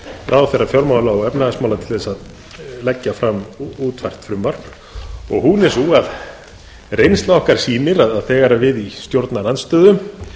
ráðherra fjármála og efnahagsmála til að leggja fram útfært frumvarp hún er sú að reynsla okkar sýnir að þegar við í stjórnarandstöðu